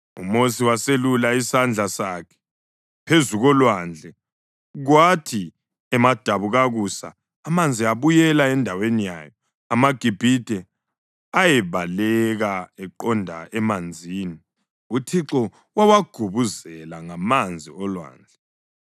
UMosi waseselula isandla sakhe phezu kolwandle, kwathi emadabukakusa amanzi abuyela endaweni yawo. AmaGibhithe ayebaleka eqonda emanzini, uThixo wawagubuzela ngamanzi olwandle.